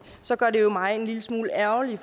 så gør det mig jo en lille smule ærgerlig